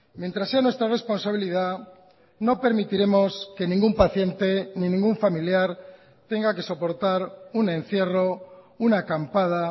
mientras sea nuestra responsabilidad no permitiremos que ningún paciente ni ningún familiar tenga que soportar un encierro una acampada